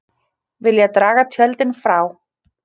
Vilja draga tjöldin frá